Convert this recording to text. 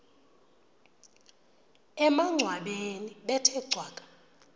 emangcwabeni bethe cwaka